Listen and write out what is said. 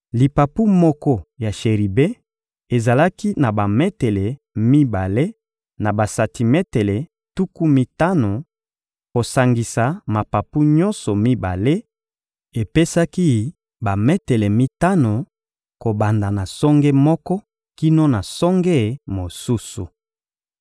Lipapu moko ya sheribe ezalaki na bametele mibale na basantimetele tuku mitano; kosangisa mapapu nyonso mibale epesaki bametele mitano, kobanda na songe moko kino na songe mosusu.